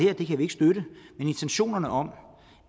men intentionerne om